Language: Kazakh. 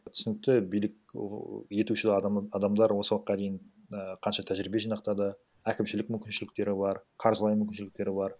түсінікті билік етуші адамдар осы уақытқа дейін і қанша тәжірибе жинақтады әкімшілік мүмкіншіліктері бар қаржылай мүмкіншіліктері бар